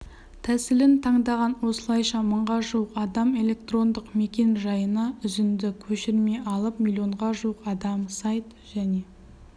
тәсілін таңдаған осылайша мыңға жуық адам электрондық мекен-жайына үзінді-көшірме алып миллионға жуық адам сайт және